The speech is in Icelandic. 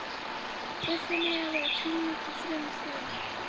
Buffin eiga að vera kringlótt og fremur þunn.